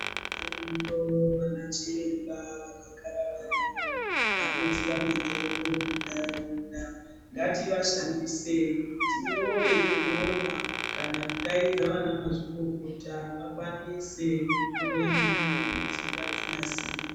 Variyo vanachiremba vakagara variyo vanoziya mitombo muntharaunda. Ngativashandisei tinyore zvinyorwa kana kudaidza vanamazvikokota vakwanise kuhloya mitombo idzi vadzinasire.